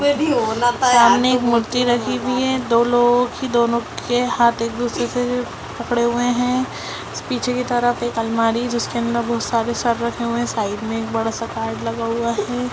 उसमें भी होना था यार सामने एक मूर्ति रखी हुई है दो लोगों की दोनों के हाँथ एक दूसरे से जो पकड़े हुए है पीछे की तरफ एक अलमारी है जिसके अंदर बहुत सारे सर रखे हुए है साइड में एक बड़ा सा कार्ड लगा हुआ है।